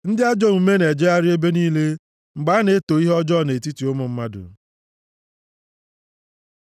Ndị ajọ omume na-ejegharị nʼebe niile mgbe a na-eto ihe ọjọọ nʼetiti ụmụ mmadụ.